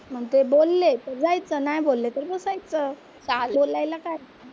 मग ते बोलले तर जायचं नाही बोलले तर बसायचं. बोलायला काय?